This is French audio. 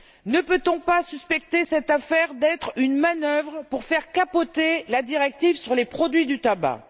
Ne peut on pas suspecter cette affaire d'être une manœuvre pour faire capoter la directive sur les produits du tabac?